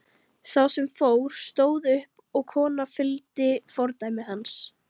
Sá sem fór stóð upp og konan fylgdi fordæmi hans.